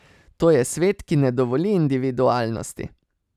To je svet, ki ne dovoli individualnosti.